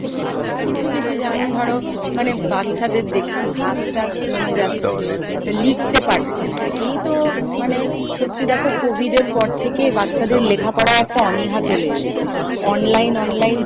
কিছু কিছু যেমন ধরো মানে বাচ্চাদের দেখছি হাত তাট জমে যাচ্ছে বা লিখতে পারছে না, একেই তো মানে সত্যি দেখো COVID এর পর থেকে বাচ্চাদের লেখাপড়াই একটা অনীহা চলে এসেছে, online online